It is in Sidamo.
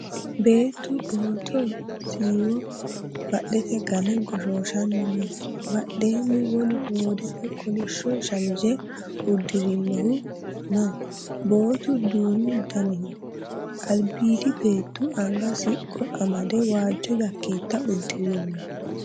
Beettu bootoho siiwo baddete game goshooshanni no.badheenni wolu hoodete kolishsho shamise uddirinohu no.bootu duumu daniho. albiidi beettu anga siqqo amade waajjo yakkeetta uddirino.